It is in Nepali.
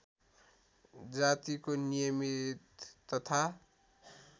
जातिको नियमित तथा